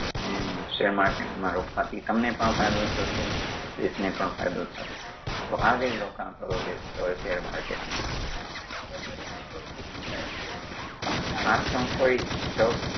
હું share market માં રોકાણ થી તમને પણ ફાયદો થશે, દેશ ને પણ ફાયદો થશે તો આજેજ રોકાણ કરવા બેસતા હો share market નુ આ કોઈ stock